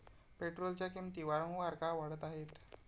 पेट्रोलच्या किंमती वारंवार का वाढत आहेत?